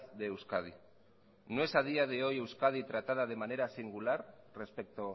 de euskadi no es a día de hoy euskadi tratada de manera singular respecto